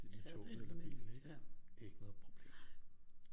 Det er rigtigt ja nej